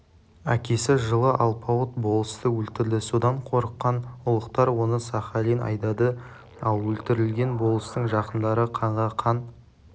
әкесі жылы алпауыт болысты өлтірді содан қорыққан ұлықтар оны сахалин айдады ал өлтірілген болыстың жақындары қанға-қан